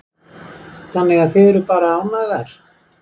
Þannig að þið eruð bara ánægðar?